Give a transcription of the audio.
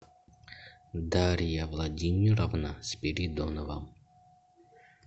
дарья владимировна спиридонова